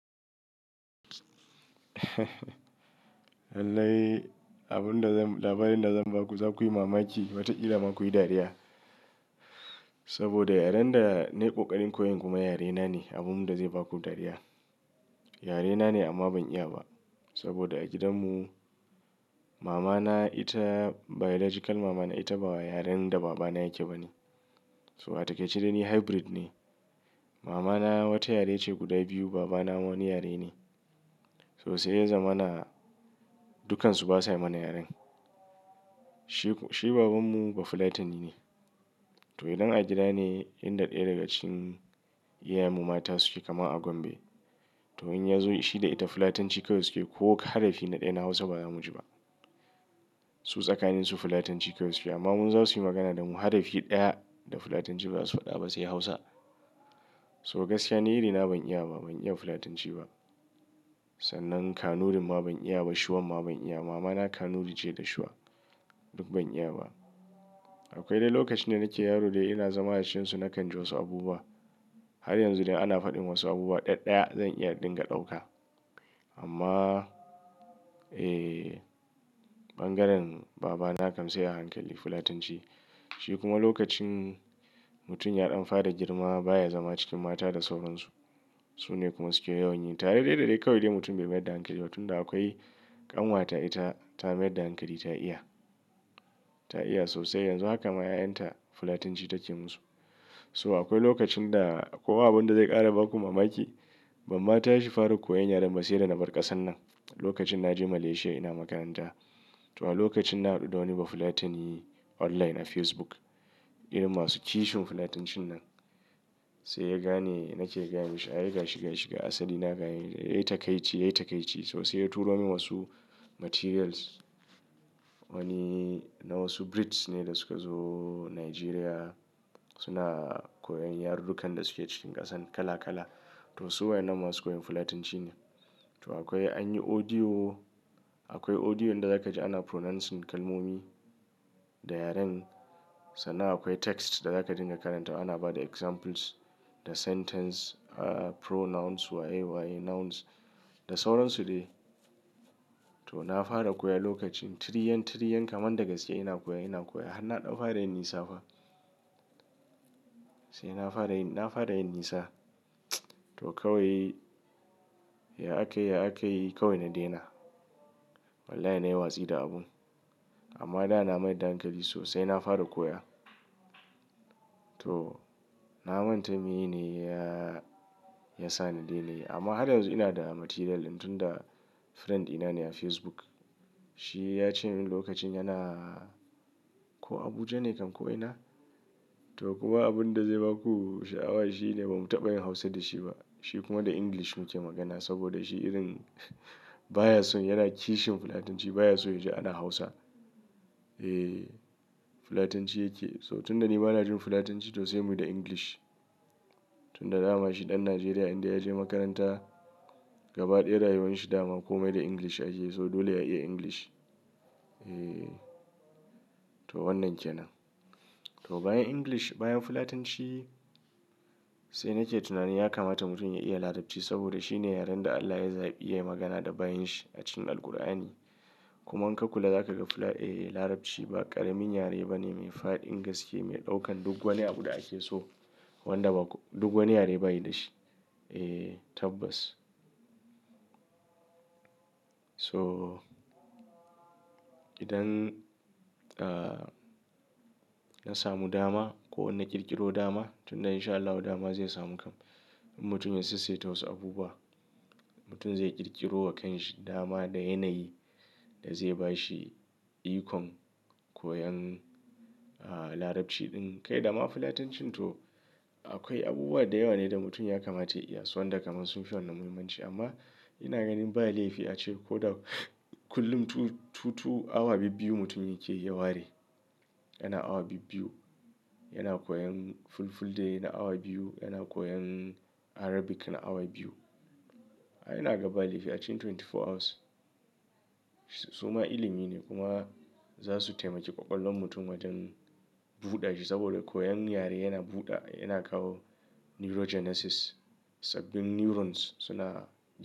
Lallai abin da za, labarin da za mu baku za ku yi mamaki wata ƙila ma ku yi dariya. Saboda yaren da na yi ƙoƙarin koyon kuma yarena ne, abun da zai baku dariya. Yarena ne amma ban iya ba saboda a gidanmu mama na ita biological mama na ita ba wa yaren da baba na yake ba ne. So a taƙaice dai ni hybrid ne. Mama na wata yare ce guda biyu, baba na wani yare ne. So sai ya zama na, dukkansu ba sa yi mana yaren. Shi, shi babanmu Bafulatani ne. To idan a gida ne, inda ɗaya daga cikin iyayenmu mata suke kama a Gombe. To in ya zo shi da ita Fulatanci kawai suke ko harafi na ɗaya na Hausa ba za mu ji ba. Su tsakanin su Fulatanci kawai suke amma mu in za su yi magana da mu harafi ɗaya da Fulatanci ba su faɗa ba sai Hausa. So gaskiya ni iri na ban iya ba, ban iya Fulatanci ba. Sannan Kanurin ma ban iya ba, Shuwan ma ban iya ba. Mama na Kanuri ce da Shuwa, duk ban iya ba. Akwai dai lokacin da nake yaro dai ina zama a cikin su na kan ji wasu abubuwa. Har yanzu dai ana faɗin wasu abubuwa ɗaya ɗaya zan iya ɗinga ɗauka. Amma eh bangaren baba na kam sai a hankali Fulatanci. Shi kuma lokacin mutum ya ɗan fara girma baya zama cikin mata da sauran su. Su ne kuma suke yawan yi. Tare dai dai dai kawai dai mutum bai mayar da hankali ba tunda akwai ƙanwata ita ta mayar da hankali ta iya. Ta iya sosai yanzu haka ma 'ya'yan ta Fulatanci take musu. So akwai lokacin da ko abun da zai ƙara baku mamaki, ban ma tashi fara koyon yaren ba sai da na bar ƙasan nan. Lokacin na je Malaysia ina makaranta. To a lokacin na haɗu da wani Bafulatani online a Facebook. Irin masu kishin Fulatancin nan. Sai ya gane nake gayama shi, ai gashi gashi gashi asali na gane. Yayi takaici, yayi takaici. To sai ya turo min wasu materials. Wani na wasu Brits ne da suka zo Nigeria suna koyon yarurrukan da suke cikin ƙasan kala kala. To su waɗinnan masu koyan Fulatanci ne. To akwai an yi audio, akwai audio inda za ka ji ana pronouncing kalmomi da yaren sannan akwai text da za ka dinga karanta. Ana bada examples da sentence, ah pronouns waye waye nouns da sauran su dai. To na fara koya lokacin, tiriyan tiriyan kaman da gaske ina koya ina koya har na ɗan fara yin nisa fa. Sai na fara yin, na fara yin nisa. To kawai ya akai ya akai kawai na daina. Wallahi na yi watsi da abun. Amma da na mayar da hankali sosai na fara koya. To na manta meye ne ya, ya sa na daina amma har yanzu ina da material tun da friend ɗina ne a Facebook. Shi ya ce min lokacin yana ko Abuja ne kam ko ina? To kuma abin da zai baku sha'awa shine ba mu taɓa yin Hausa da shi ba. Shi kuma da English muke magana saboda shi irin baya so yana kishin Fulatanci baya so ya ji ana Hausa. Eh Fulatanci yake so tun da ni bana jin Fulatanci to sai muyi da English. Tun da dama shi ɗan Najeriya inda ya je makaranta gaba ɗaya rayuwar shi dama komai da English yake so dole ya iya English. Eh to wannan ke nan. To bayan English, bayan Fulatanci sai nake tunanin ya kamata mutum ya iya Larabci saboda shi ne yaren da Allah ya zaɓi yayi magana da bayin shi a cikin Alqur'ani. Kuma in ka kulla za ka ga Fula, eh Larabci ba ƙaramin yare bane mai fa'adin gaske mai ɗaukan duk wani abu da ake so wanda ba duk wani yare ba yi da shi. Eh tabbas. So idan ah na samu dama ko in na ƙirƙiro dama tun da insha Allahi dama zai samu kam. Mutum ya sassaita wasu abubuwa, mutum zai ƙirƙiro wa kyan shi dama da yanayi da zai ba shi ikon koyan ah Larabci ɗin. Kai dama Fulatancin to akwai abubuwa da yawa ne da mutum ya kamata ya iya su wanda kaman sun fi wannan muhimmanci amma ina ganin ba laifi a ce ko da kullum two two two awa bibbiyu mutum yake ya ware. Yana awa bibbiyu yana koyan Fulfulde na awa biyu, yana koyan Arabic na awa biyu. Ai ina ga ba laifi a cikin twenty four hours. Suma ilimi ne kuma za su taimake ƙwaƙwalwar mutum wajen buɗa shi saboda koyan yare yana buɗa yana kawo neurogenesis sabbin neurons suna.